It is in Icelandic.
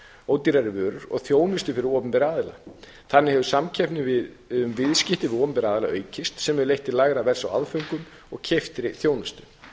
og ódýrari vörur og þjónustu fyrir opinbera aðila þannig hefur samkeppni um viðskipti við opinbera aðila aukist sem hefur leitt til lægra verðs á aðföngum og keyptri þjónustu